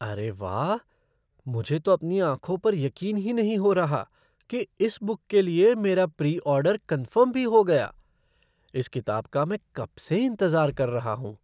अरे वाह! मुझे तो अपनी आँखों पर यकीन ही नहीं हो रहा कि इस बुक के लिए मेरा प्री ऑर्डर कन्फ़र्म भी हो गया। इस किताब का मैं कब से इंतज़ार कर रहा हूँ।